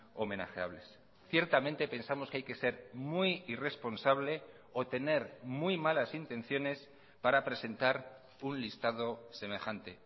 homenajeables ciertamente pensamos que hay que ser muy irresponsable o tener muy malas intenciones para presentar un listado semejante